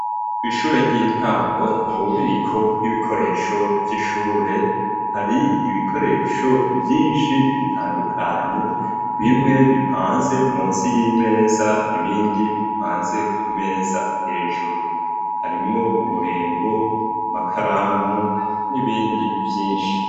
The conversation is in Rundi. Ku ishure ry'intango mu bubiko bw'ibikoresho vy'ishure hari ibikoresho vyinshi bitandukanye bimwe bipanze munsi y'imeza ibindi bipanze ku meza hejuru harimwo uburembo ,amakaramu n'ibindi vyinshi.